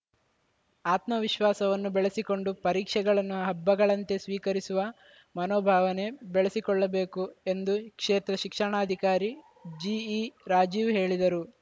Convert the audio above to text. ಆತ್ಮವಿಶ್ವಾಸವನ್ನು ಬೆಳೆಸಿಕೊಂಡು ಪರೀಕ್ಷೆಗಳನ್ನು ಹಬ್ಬಗಳಂತೆ ಸ್ವೀಕರಿಸುವ ಮನೋಭಾವನೆ ಬೆಳೆಸಿಕೊಳ್ಳಬೇಕು ಎಂದು ಕ್ಷೇತ್ರ ಶಿಕ್ಷಣಾಧಿಕಾರಿ ಜಿಈ ರಾಜೀವ್‌ ಹೇಳಿದರು